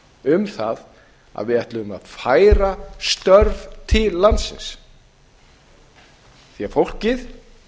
um það að við ætluðum að færa störf til landsins því að fólkið